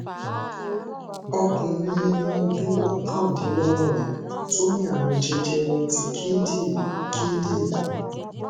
ọkùnrin eni ọdún okandinlogorin to ní àrùn jẹjẹrẹ ti kindinrin kindinrin